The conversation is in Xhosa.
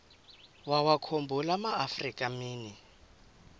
wawakhumbul amaafrika mini